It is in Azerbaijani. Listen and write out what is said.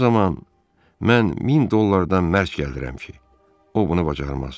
O zaman mən 1000 dollardan mərk gəldirirəm ki, o bunu bacarmaz.